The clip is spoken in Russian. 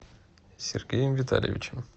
сергеем витальевичем